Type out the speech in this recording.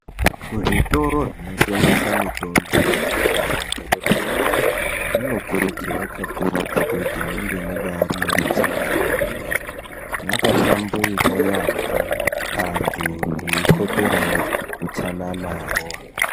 Kuzvitoro zvinotengesa mutombo kunyanyisa mumadhorobhamo munokuridzorwa kakurutu kuti munge munge mune utsanana hwemene makahlamburika yambo andu vekoperawo utsananawo.